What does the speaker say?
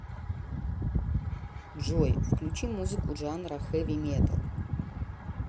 джой включи музыку жанра хэви металл